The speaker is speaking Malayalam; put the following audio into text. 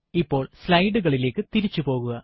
ഇപ്പോൾ slide കളിലേക്ക് തിരിച്ചു പോകുക